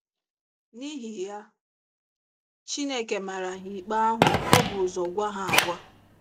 N’ihi ya, Chineke mara ha ikpe ahụ o bu ụzọ gwa ha agwa.